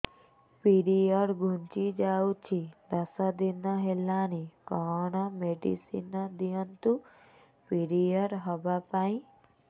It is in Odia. ପିରିଅଡ଼ ଘୁଞ୍ଚି ଯାଇଛି ଦଶ ଦିନ ହେଲାଣି କଅଣ ମେଡିସିନ ଦିଅନ୍ତୁ ପିରିଅଡ଼ ହଵା ପାଈଁ